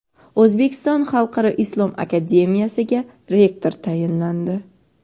O‘zbekiston xalqaro islom akademiyasiga rektor tayinlandi.